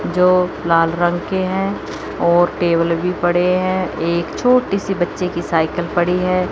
जो लाल रंग के हैं और टेबल भी पड़े हैं एक छोटी सी बच्चे की साइकिल पड़ी है।